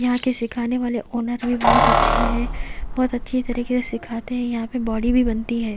यहां के सिखाने वाले ओनर भी बहुत अच्छे हैं बहुत अच्छी तरीके से सिखाते हैं यहां पे बॉडी भी बनती है।